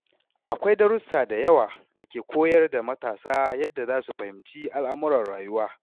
Akwai darussa da yawa da ke koyar da matasa yadda za su fahimci al’amuran rayuwa.